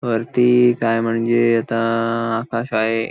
वरती काय म्हणजे आता आकाश आहे.